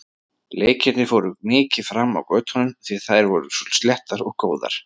Leikirnir fóru mikið fram á götunum því að þær voru svo sléttar og góðar.